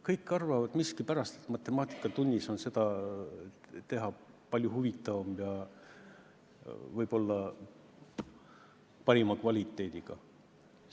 Kõik arvavad miskipärast, et matemaatikatunnis on seda teha palju huvitavam ja võib-olla parima kvaliteediga.